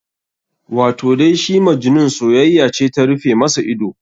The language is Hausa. Wato dai shi Majnun soyayya ce ta rufe masa ido.